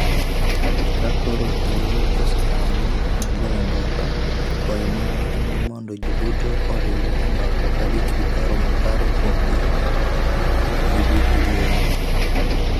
Ka koro thuolo oseyawore mar goyo mbaka, kwayo marwa en ni mondo ji duto oriwre e mbaka ka gin gi paro makare kuom ber ma giduto giyudo.